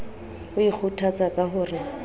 o ikgothatsa ka ho re